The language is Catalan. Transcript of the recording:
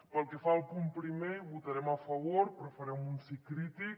pel que fa al punt primer hi votarem a favor però farem un sí crític